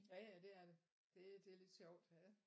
Jaja det er det. Det lidt sjovt ja